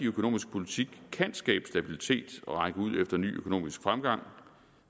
økonomiske politik kan skabe stabilitet og række ud efter ny økonomisk fremgang